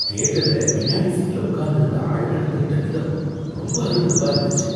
தியேட்டர்ல பின்னாடி சீட்ல உக்காந்து இருந்த ஆளு நடந்துக்கிட்ட விதம் ரொம்ப அருவருப்பா இருந்துச்சு.